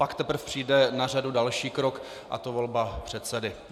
Pak teprve přijde na řadu další krok, a to volba předsedy.